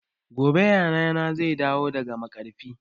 Gobe yayana zai dawo daga maƙarfi